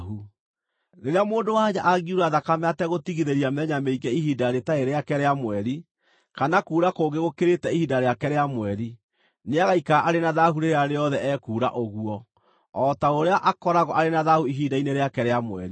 “ ‘Rĩrĩa mũndũ-wa-nja angiura thakame ategũtigithĩria mĩthenya mĩingĩ ihinda rĩtarĩ rĩake rĩa mweri, kana kuura kũngĩ gũkĩrĩte ihinda rĩake rĩa mweri, nĩagaikara arĩ na thaahu rĩrĩa rĩothe ekuura ũguo, o ta ũrĩa akoragwo arĩ na thaahu ihinda-inĩ rĩake rĩa mweri.